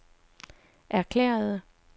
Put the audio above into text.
erklærede